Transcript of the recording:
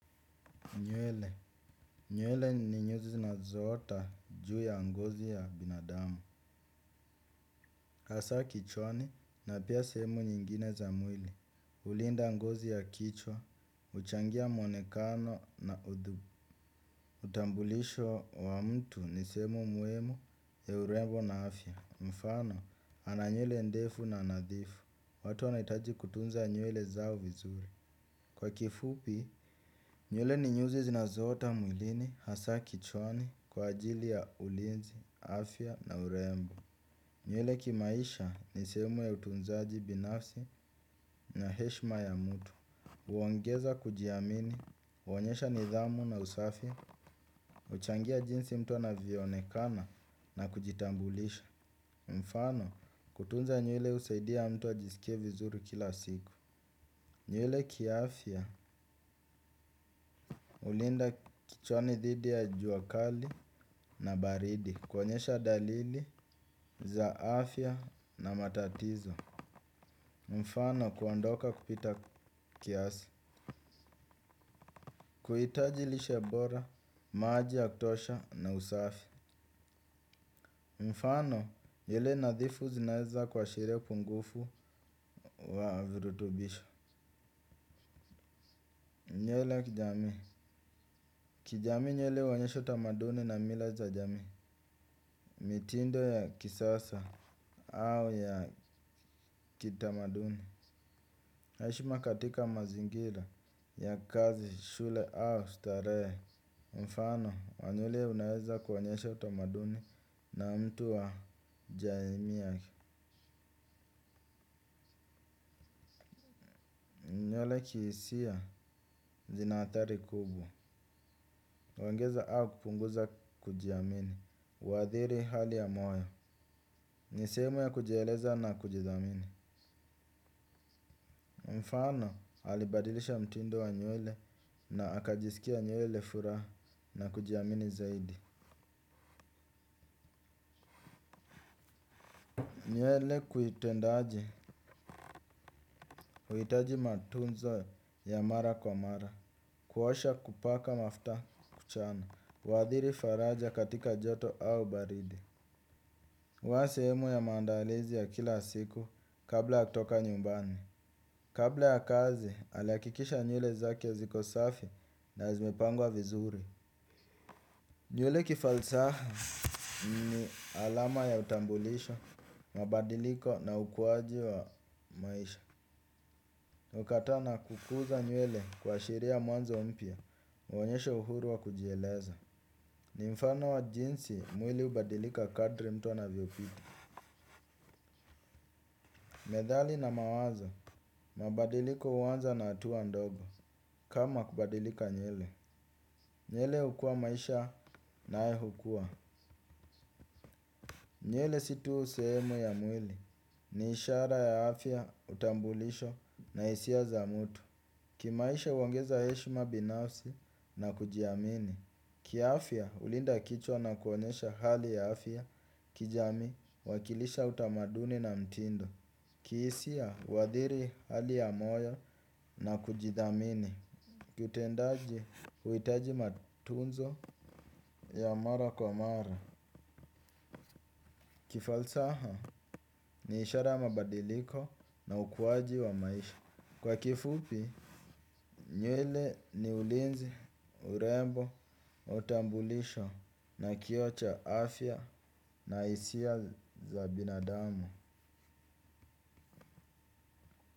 Nywele. Nywele ni nyuzi zinazoota juu ya ngozi ya binadamu. Hasa kichwani na pia sehemu nyingine za mwili. Ulinda ngozi ya kichwa, uchangia mwonekano na udhubu. Utambulisho wa mtu ni seeemu muhimu ya urembo na afya. Mfano, ana nywele ndefu na nadhifu. Watu wanaitaji kutunza nywele zao vizuri. Kwa kifupi, nywle ni nyuzi zinazoota mwilini hasa kichwani kwa ajili ya ulinzi, afya na urembo. Nywele kimaisha ni shemu ya utunzaji binafsi na heshma ya mtu. Uongeza kujiamini, uonyesha nidhamu na usafi, uchangia jinsi mtu anavyoonekana na kujitambulisha. Mfano kutunza nywele usaidia mtu ajisike vizuri kila siku. Nywele kiaafya ulinda kichwani dhidi ya jua kali na baridi. Kuonyesha dalili za afya na matatizo mfano kuondoka kupita kiasi. Kuitaji lishe bora, maji ya kutosha na usafi. Mfano nywele nadhifu zinaezakuashiria upungufu wa vrutubisho. Nywele kijami kijamii nywele huonyesha utamaduni na mila za jami. Mitindo ya kisasa au ya kitamaduni. Haishi ma katika mazingira ya kazi, shule au stare. Mfano, wa nywele unaezakuonyesha utamaduni na mtu wa jaimi ya ki. Nywele kiisia zina athari kubwa. Huongeza au kupunguza kujiamini. Uadhiri hali ya moyo. Ni sehemu ya kujieleza na kujidhamini. Mfano, alibadilisha mtindo wa nywele na akajisikia nywele furaha na kujiamini zaidi. Nywele kuitendaji, kuitaji matunzo ya mara kwa mara. Kuosha kupaka mafta kuchana. Uadhiri faraja katika joto au baridi. Huwa sehemu ya mandalizi ya kila siku kabla ya kutoka nyumbani. Kabla ya kazi, alihakikisha nywele zake ziko safi na zimepangwa vizuri. Nywele kifalsaha ni alama ya utambulisho, mabadiliko na ukuwaji wa maisha kukata na kukuza nywele kuashiria mwanzo mpya honyesha uhuru wa kujieleza. Ni mfano wa jinsi mwili hubadilika kadri mtu anavyopita. Methali na mawazo mabadiliko huanza na hatua ndogo. Kama kubadilika nywele nywele hukua maisha nayo hukua. Nywele si tu useemu ya mwili. Ni ishara ya afya utambulisho na hisia za mtu. Kimaisha huongeza heshima binafsi na kujiamini. Kiafya hulinda kichwa na kuonyesha hali ya afya kijami huwakilisha utamaduni na mtindo. Kihisia huadhiri hali ya moyo na kujithamini. Kutendaji huhitaji matunzo ya mara kwa mara. Kifalsaha ni ishara ya mabadiliko na ukuwaji wa maisha. Kwa kifupi, nywele ni ulinzi, urembo, na utambulisho na kioo cha afya na hisia za binadamu.